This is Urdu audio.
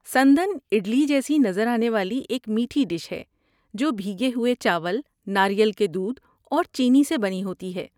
سندان اڈلی جیسی نظر آنے والی ایک میٹھی ڈش ہے جو بھیگے ہوئے چاول، ناریل کے دودھ اور چینی سے بنی ہوتی ہے۔